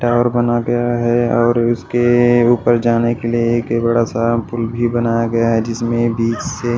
tower बना गया है और उसके ऊपर जाने के लिए एक बड़ा सा पुल भी बनाया गया है जिसमें बीच से --